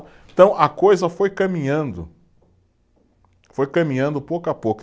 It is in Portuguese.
Então a coisa foi caminhando, foi caminhando pouco a pouco.